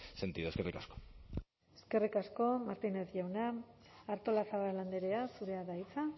sentido eskerrik asko eskerrik asko martínez jauna artolazabal andrea zurea da hitza